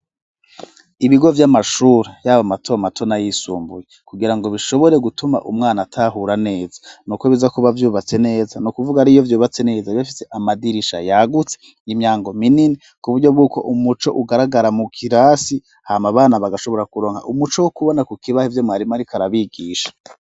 Ibigo vy'amashure, yaba mato mato n'ayisumbuye, kugira ngo bishobore gutuma umwana atahura neza, ni uko biza kuba vyubatse neza, ni ukuvuga ari iyo vyubatse neza, biba bifise amadirisha yagutse, imyango minini, kuburyo bw'uko umuco ugaragara mu kirasi hama abana bagashobora kuronka umuco wo kubona ku kibaho ivyo mwarimu ariko arabigisha.